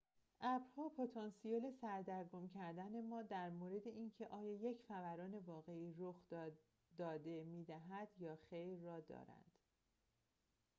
ابرها پتانسیل سردرگم کردن ما در مورد اینکه آیا یک فوران واقعی رخ داده می‌دهد یا خیر را دارند